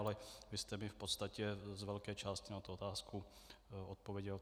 Ale vy jste mi v podstatě z velké části na tu otázku odpověděl.